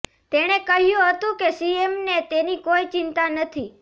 તેણે કહ્યું હતું કે સીએમને તેની કોઈ ચિંતા નથી